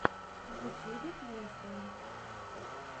в ютьюбе клинское